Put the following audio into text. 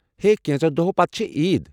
ہے، کینٛژو دوہۄ پتہٕ چھِ عید ۔